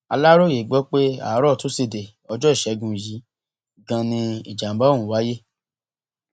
aláròye gbọ pé àárò tusidee ọjọ ìṣègùn yìí ganan ni ìjàǹbá ọhún wáyé